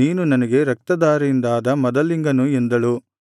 ನೀನು ನನಗೆ ರಕ್ತಧಾರೆಯಿಂದಾದ ಮದಲಿಂಗನು ಎಂದಳು